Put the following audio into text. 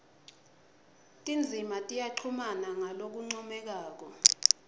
tindzima tiyachumana ngalokuncomekako